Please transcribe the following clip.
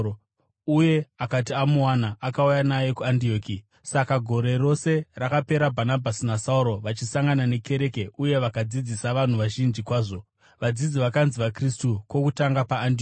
uye akati amuwana, akauya naye kuAndioki. Saka gore rose rakapera Bhanabhasi naSauro vachisangana nekereke uye vakadzidzisa vanhu vazhinji kwazvo. Vadzidzi vakanzi vaKristu kwokutanga paAndioki.